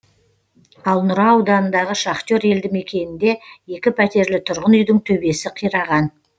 ал нұра ауданындағы шахтер елді мекенінде екі пәтерлі тұрғын үйдің төбесі қираған